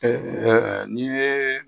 n'i ye